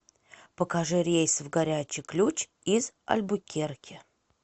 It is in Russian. покажи рейсы в горячий ключ из альбукерке